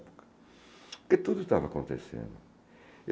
Porque tudo estava acontecendo.